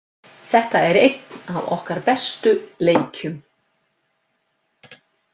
Þetta var einn af okkar bestu leikjum.